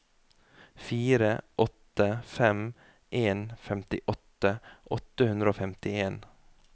fire åtte fem en femtiåtte åtte hundre og femtien